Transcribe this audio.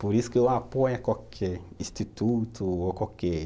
Por isso que eu apoio qualquer instituto ou qualquer...